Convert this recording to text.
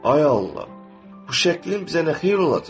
Ay Allah, bu şəklin bizə nə xeyri olacaq?